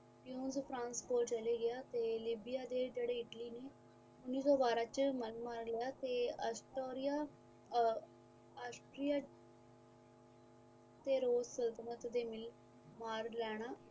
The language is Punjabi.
ਯੂਰੋਪ ਫਰਾਂਸ ਤੋਂ ਚਲਾ ਗਿਆ ਤੇ ਲੀਬੀਆ ਤੇ ਜੇੜੇ ਇਟਲੀ ਨੇ ਉੰਨੀ ਸੋ ਬਾਰਾਂ ਚ ਮਨ ਮਾਰ ਲਿਆ ਤੇ ਅਸਟੋਰੀਆ ਤੋਂ ਸੰਤਤਲਣ ਮਾਰ ਲੈਣਾ